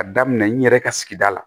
A daminɛ n yɛrɛ ka sigida la